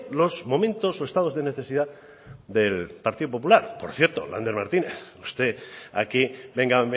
los momentos o estados de necesidad del partido popular por cierto lander martínez usted aquí venga